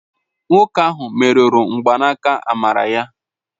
Nwoke ahụ merụrụ mgbaaka amara ya